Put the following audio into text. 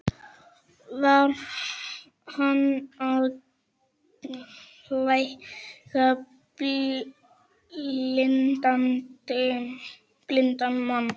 Var hann að lækna blinda manninn?